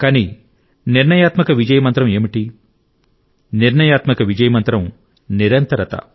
కానీ నిర్ణయాత్మక విజయ మంత్రం ఏమిటి నిర్ణయాత్మక విజయ మంత్రం నిరంతరత